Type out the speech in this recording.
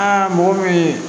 Aa mɔgɔ min ye